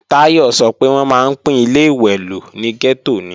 Táyọ̀ sọ pé wọ́n máa ń pín Ilé-ìwẹ̀ lò ní gẹ́tò ni